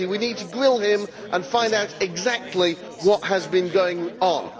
We need to grill him and find out exactly what has been going on.